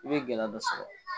I bɛ gɛlɛya dɔ sɔrɔ